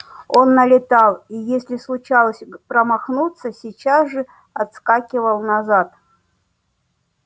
он налетал и если случалось промахнуться сейчас же отскакивал назад